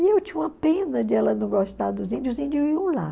E eu tinha uma pena de ela não gostar dos índios, os índios iam lá.